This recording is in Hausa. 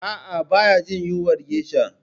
A'a, baya jin yunwar geisha